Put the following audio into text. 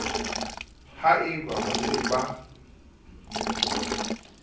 ha e ba ba se